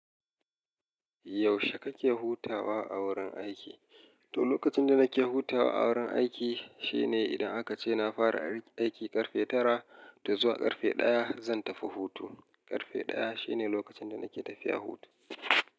Yaushe kake hutawa a wurin aiki? To, lokacin da nake hutawa a wurin aiki shine idan aka ce na fara aiki ƙarfe tara da zuwa ƙarfe ɗaya zan tafi hutu. Ƙarfe ɗaya shine lokacin da nake tafiya hutu.